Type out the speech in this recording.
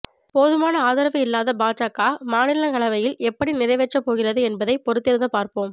போதுமான ஆதரவு இல்லாத பாஜக மாநிலங்களவையில் எப்படி நிறைவேற்ற போகிறது என்பதை பொறுத்திருந்து பார்ப்போம்